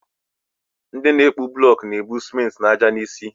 Nde na akpu blok na-ebu simenti na ájá n'isi.